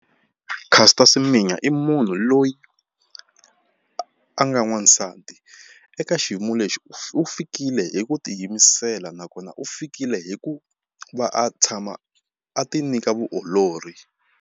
Caster Semenya i munhu loyi a nga n'wansati eka xiyimo lexi u fikile hi ku tiyimisela nakona u fikile hi ku va a tshama a ti nyika vuolori.